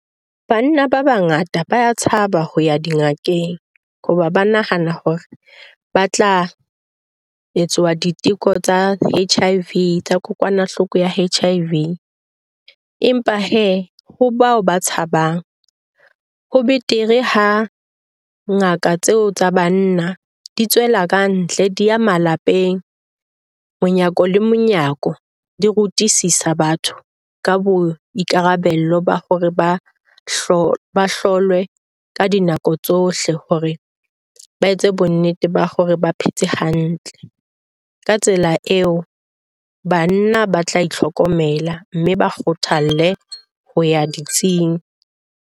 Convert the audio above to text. Banna ba bangata ba a tshaba ho ya dingakeng hoba ba nahana hore ba tla etswa diteko tsa H_I_V tsa kokwanahloko ya H_I_V. Empa hee ho bao ba tshabang ho betere ha ngaka tseo tsa banna di tswela kantle, di ya malapeng, monyako le monyako, di rutisisa batho ka boikarabelo ba hore ba hlo ba hlolwe ka dinako tsohle hore ba etse bonnete ba hore ba phetse hantle. Ka tsela eo, banna ba tla itlhokomela mme ba kgothalle ho ya ditsing.